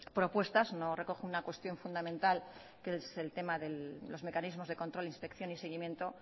propuestas no recoge una cuestión fundamental que es el tema de los mecanismos de control inspección y seguimiento